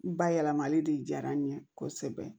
N ba yɛlɛmali de diyara n ye kosɛbɛ